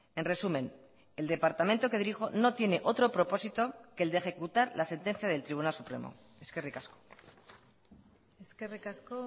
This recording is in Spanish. en resumen el departamento que dirijo no tiene otro propósito que el de ejecutar la sentencia del tribunal supremo eskerrik asko eskerrik asko